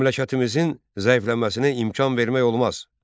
Məmləkətimizin zəifləməsinə imkan vermək olmaz.